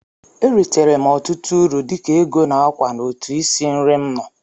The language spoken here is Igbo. E ritere m ọtụtụ uru dịka ego na ákwà n'otu isi nri m nọ.